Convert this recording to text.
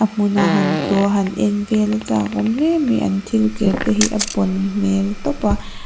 hmuna han tlawha han en vel a chakawm hle mai an thil ker te hi a bawn hmel tawp a.